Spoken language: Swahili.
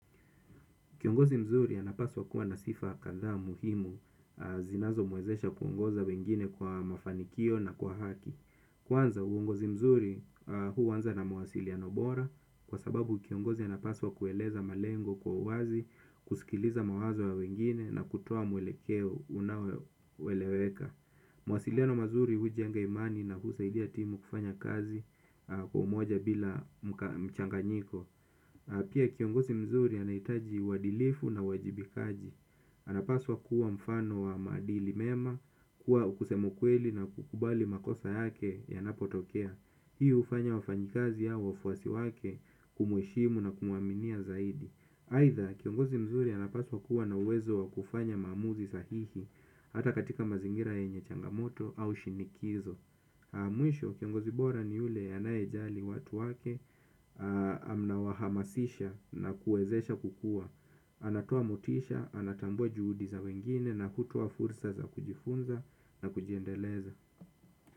Kiongozi mzuri anapaswa kuwa na sifa kadha muhimu zinazo mwezesha kuongoza wengine kwa mafanikio na kwa haki. Kwanza uongozi mzuri huanza na mawasiliano bora kwa sababu kiongozi anapaswa kueleza malengo kwa uwazi, kusikiliza mawazo ya wengine na kutoa mwelekeo unaoeleweka. Mawasiliano mazuri hujenga imani na husaidia timu kufanya kazi kwa umoja bila mchanganyiko. Na pia kiongozi mzuri anahitaji uadilifu na uwajibikaji. Anapaswa kuwa mfano wa maadili mema, kuwa wa kusema ukweli na kukubali makosa yake yanapotokea. Hii ufanya wafanyikazi au wafuasi wake kumuheshimu na kumuaminia zaidi. Aidha kiongozi mzuri anapaswa kuwa na uwezo wa kufanya maamuzi sahihi. Hata katika mazingira yenye changamoto au shinikizo. Mwisho kiongozi bora ni yule anayejali watu wake na mnawahamasisha na kuwezesha kukua. Anatoa motisha, anatambua juhudi za wengine na kutoa fursa za kujifunza na kujiendeleza.